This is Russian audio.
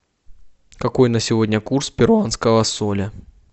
какой на сегодня курс перуанского соля